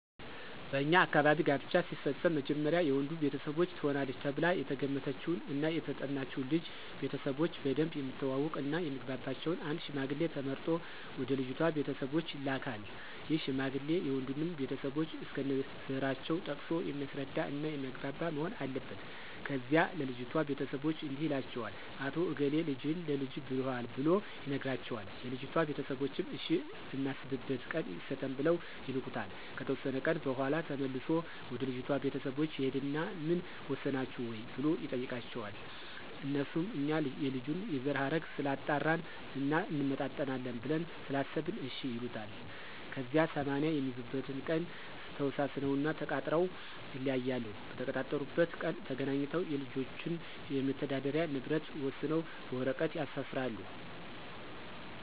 በኛ አካባቢ ጋብቻ ሲፈፀም መጀመሪያ የወንዱ ቤተሰቦች ትሆናለች ተብላ የተገመተችውን እና የተጠናችውን ልጅ ቤተሰቦቾን በደንብ የሚተዋወቅ እና የሚግባባቸውን አንድ ሽማግሌ ተመርጦ ወደ ልጅቷ ቤተሰቦች ይላካን ይህ ሽማግሌ የወንዱንም ቤተሰቦች እስከነዘራቸው ጠቅሶ የሚያስረዳ እና የሚያግባባ መሆን አለበት። ከዚያ ለልጅቷ ቤተሰቦች እንዲህ ይላቸዋል "አቶ እገሌ ልጅህን ለልጀ ብሎሀል"ብሎ ይነግራቸዋል የልጅቷ ቤተሰቦችም እሽ እናስብበት ቀን ይሰጠን ብለው ይልኩታል። ከተወሰነ ቀን በኋላ ተመልሶ ወደ ልጅቷ ቤተሰቦች ይሂድና ምን ወሰናችሁ ወይ ብሎ ይጠይቃቸዋል? አነሱም እኛ የልጁን የዘረሀረግ ስላጣራን እና እንመጣጠናለን ብለን ስላሰበን እሽ ይሉታል። ከዚያ 80 የሚይዙበትን ቀን ተወሳስነውና ተቃጥረው ይለያያሉ። በተቀጣጠሩበት ቀን ተገናኝተው የልጆችን የመተዳደሪ ንብረት ወሰነው በወረቀት ያሰፍራሉ።